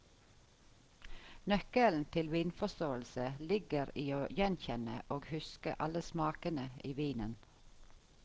Nøkkelen til vinforståelse ligger i å gjenkjenne og huske alle smakene i vinen.